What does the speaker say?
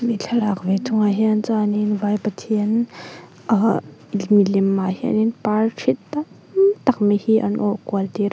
thlalak ve thung ah hian chuan in vai pathian ahh milemah hianin parthi tamtak mai hi an awrh kual tir a.